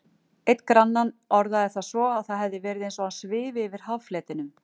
Einn granninn orðaði það svo að það hefði verið eins og hann svifi yfir haffletinum.